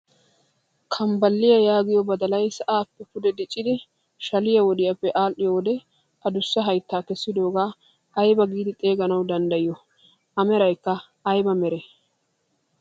Kanbbaliyaa yaagiyoo badalay sa'aappe pude diiccidi shaliyaa wodiyaappe adhiyoo wode adussa hayttaa keessidoogaa aybaa giidi xeeganawu danddayiyoo? A meraykka ayba meree?